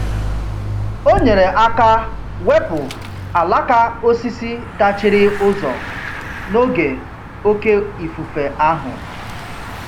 O nyere aka wepụ alaka osisi dachiri ụzọ n'oge oke ifufe ahụ.